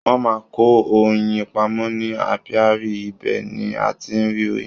Wọ́n máa ń kó oyin pamọ́ ní apiary ibẹ̀ ni a ti ń rí oyin.